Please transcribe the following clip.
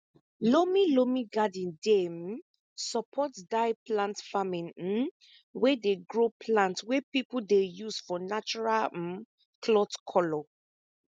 loamy loamy garden dey um support dye plant farming um wey dey grow plant wey people dey use for natural um cloth color